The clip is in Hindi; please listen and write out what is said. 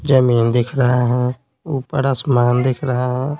जमीन दिख रहा है ऊपर आसमान दिख रहा है।